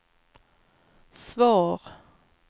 svar